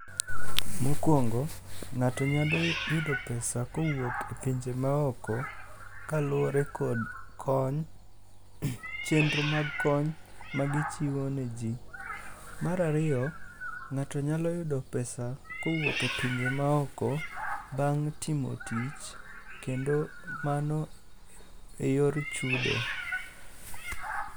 Mokwongo ng'ato nyalo yudo pesa kowuok e pinje maoko kaluwre kod kony, chenro mag kony magichiwo ne ji. Mar ariyo, ng'ato nyalo yudo pesa kowuok e pinje maoko bang' timo tich kendo mano e yor chudo.